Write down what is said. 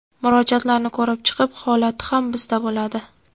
Murojaatlarni ko‘rib chiqib holati ham bizda bo‘ladi.